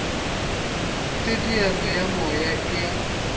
teteano ya moya e a